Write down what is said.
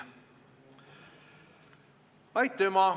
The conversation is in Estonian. Aitüma!